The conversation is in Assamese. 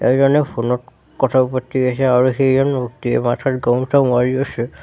এজনে ফোন ত কথা পাতি আছে আৰু সেইজন ব্যক্তিয়ে মাথাত গামোচা মাৰি আছে।